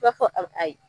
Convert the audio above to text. B'a fɔ a ayi